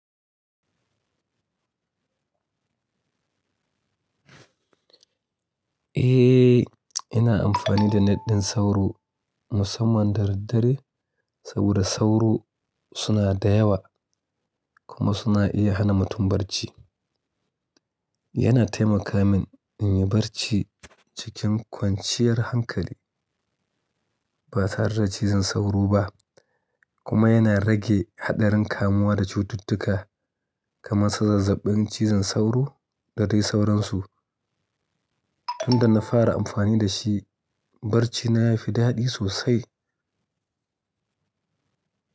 Eh, ina amfani da na net din sauro musamman daddare saboda sauro suna da yawa kuma suna iya hana mutum barci. Yana taimaka min in yi barci cikin kwanciyar hankali ba tare da cizon sauro ba kuma yana rage haɗarin kamuwa da cututtuka kamar zazzabin cizon sauro da dai sauransu. Tun da na fara amfani da shi, barcina ya fi daɗi sosai.